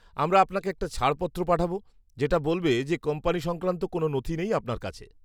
আমরা আপনাকে একটা ছাড়পত্র পাঠাবো যেটা বলবে যে কোম্পানি সংক্রান্ত কোনও নথি নেই আপনার কাছে।